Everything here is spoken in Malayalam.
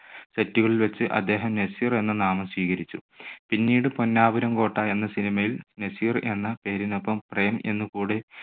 set കളിൽ വച്ച് അദ്ദേഹം നസീർ എന്ന നാമം സ്വീകരിച്ചു. പിന്നീട് പൊന്നാപുരം കോട്ട എന്ന cinema യിൽ നസീർ എന്ന പേരിനൊപ്പം പ്രേം എന്ന് കൂടെ